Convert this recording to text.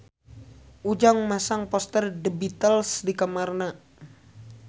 Ujang masang poster The Beatles di kamarna